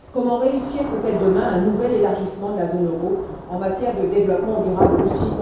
comment réussir peut être demain un nouvel élargissement de la zone euro, en matière de développement durable aussi